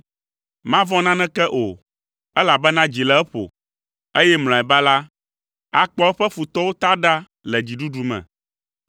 Mavɔ̃ naneke o, elabena dzi le eƒo; eye mlɔeba la, akpɔ eƒe futɔwo ta ɖa le dziɖuɖu me.